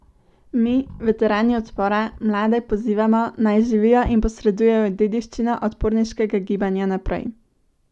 Mi, veterani odpora, mlade pozivamo, naj živijo in posredujejo dediščino odporniškega gibanja naprej.